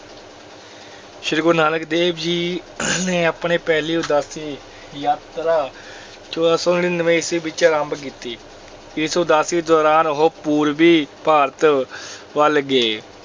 ਸ੍ਰੀ ਗੁਰੂ ਨਾਨਕ ਦੇਵ ਜੀ ਨੇ ਆਪਣੀ ਪਹਿਲੀ ਉਦਾਸੀ ਯਾਤਰਾ ਚੌਦਾਂ ਸੌ ਨੜ੍ਹਿਨਵੇਂ ਈਸਵੀ ਵਿੱਚ ਆਰੰਭ ਕੀਤੀ, ਇਸ ਉਦਾਸੀ ਦੌਰਾਨ ਉਹ ਪੂਰਬੀ ਭਾਰਤ ਵੱਲ ਗਏ।